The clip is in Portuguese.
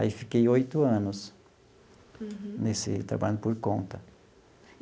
Aí fiquei oito anos. Uhum. Nesse trabalho por conta.